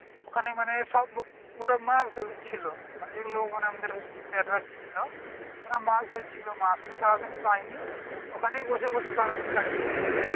ওখানে মানে সব ওরা মাছ ধরছিল যেগুলো ওখানে আমাদের sir রা ছিল তারা মাছ ধরছিল মাছ তো সারাদিন পাইনি ওখানে বসে বসে সারাদিন কাটিয়ে দিল।